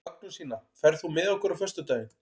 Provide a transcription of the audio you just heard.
Magnúsína, ferð þú með okkur á föstudaginn?